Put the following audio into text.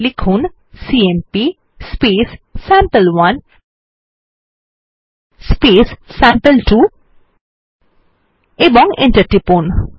লিখুন CMP sample one sample two এবং enter টিপুন